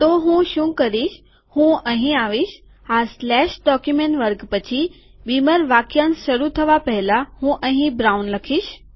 તો હું શું કરીશ કે હું અહીં આવીશ આ સ્લેશ ડોક્યુમેન્ટ વર્ગ પછી બીમર વાકયાંશ શરૂ થવાના પહેલા હું અહીં બ્રાઉન ચોકલેટી લખીશ